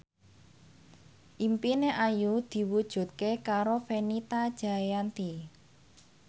impine Ayu diwujudke karo Fenita Jayanti